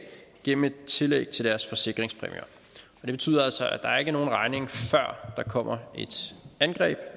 gennem et tillæg til deres forsikringspræmier og det betyder altså at der ikke er nogen regning før der kommer et angreb